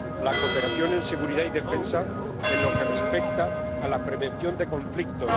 la cooperación en seguridad y defensa en lo que respecta a la prevención de conflictos